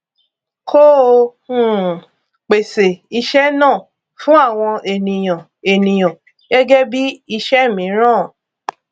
kó o um pèsè iṣẹ náà fún àwọn ènìyàn ènìyàn gẹgẹ bí iṣẹ mìíràn